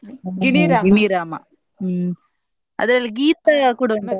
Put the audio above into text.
ಗಿಣಿರಾಮ ಹ್ಮ್ ಅದ್ರಲ್ಲಿ ಗೀತಾ ಕೂಡ ಉಂಟಲ್ಲ